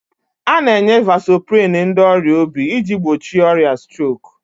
A na-enye vasoprin ndị ọrịa obi iji gbochie ọrịa strok